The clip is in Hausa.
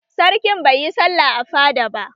Sarkin baiyi sallah a fada ba